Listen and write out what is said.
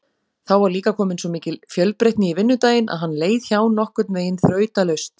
Þá var líka komin svo mikil fjölbreytni í vinnudaginn að hann leið hjá nokkurnveginn þrautalaust.